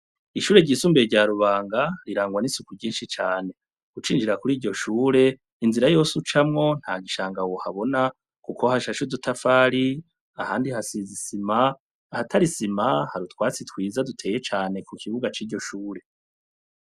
Ishure ryisumbuye rya rubanga rirangwa n'isuku ryinshi cane gucinjira kuri iryo shure inzira yose ucamwo nta gishanga wohabona, kuko hashashudutafari ahandi hasizisima ahatarisima har utwasi twiza duteye cane ku kibuga c'iryo shure.